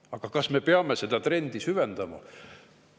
Aga kas me peame seda trendi süvendama?